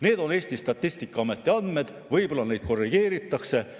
Need on Eesti Statistikaameti andmed, võib-olla neid korrigeeritakse.